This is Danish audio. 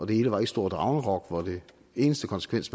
det hele var et stort ragnarok hvor den eneste konsekvens